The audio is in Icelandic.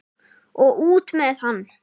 Og út með hann!